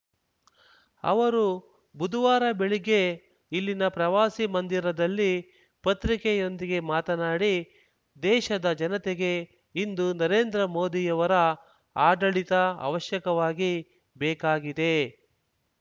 ಅವರು ಬುದುವಾರ ಬೆಳಗ್ಗೆ ಇಲ್ಲಿನ ಪ್ರವಾಸಿ ಮಂದಿರದಲ್ಲಿ ಪತ್ರಿಕೆಯೊಂದಿಗೆ ಮಾತನಾಡಿ ದೇಶದ ಜನತೆಗೆ ಇಂದು ನರೇಂದ್ರ ಮೋದಿಯವರ ಆಡಳಿತ ಅವಶ್ಯಕವಾಗಿ ಬೇಕಾಗಿದೆ